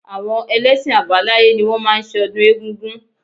Àwọn ẹlẹ́ṣin àbáláyé ni wọ́n máa ń ṣe ọdún egungun